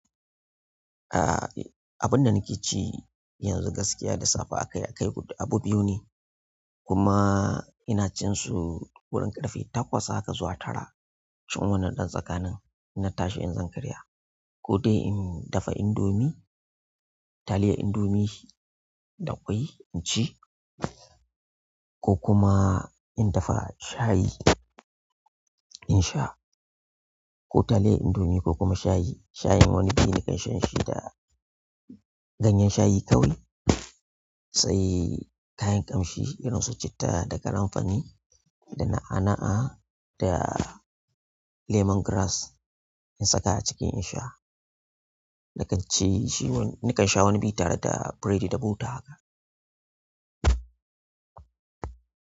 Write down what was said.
Ah, abun da nake ci yanzu gaskiya da safe akai akai abu biyu ne. Kuma ina cin su wurin ƙarfe takwas haka zuwa tara. Cin wannan ɗan tsakanin, ina tashi in zan karya ko dai in dafa indomie, taliyar indomie da ƙwai in ci ko kuma in dafa shayi in sha. Ko taliyar indomie ko kuma shayi. Shayin wani biyu nakan shan shi da ganyen shayi kawai. Sai kayan ƙamshi irin su citta da karinfari da na'a-na'a da lemon grass in saka a ciki in sha. Na kan ci shi, nakan sha wani biyu tare da biredi da bota haka.